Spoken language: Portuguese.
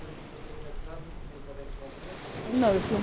E você foi fazer o mestrado no começo da década de noventa? Não eu fui